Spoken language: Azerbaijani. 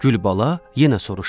Gülbala yenə soruşdu.